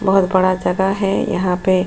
बहुत बड़ा जगह है यहां पे --